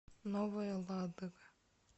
новая ладога